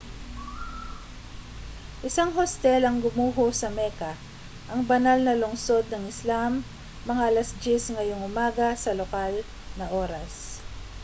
isang hostel ang gumuho sa mecca ang banal na lungsod ng islam mga alas-10 ngayong umaga sa lokal na oras